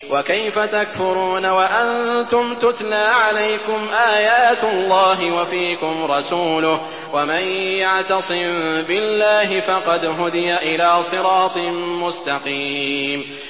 وَكَيْفَ تَكْفُرُونَ وَأَنتُمْ تُتْلَىٰ عَلَيْكُمْ آيَاتُ اللَّهِ وَفِيكُمْ رَسُولُهُ ۗ وَمَن يَعْتَصِم بِاللَّهِ فَقَدْ هُدِيَ إِلَىٰ صِرَاطٍ مُّسْتَقِيمٍ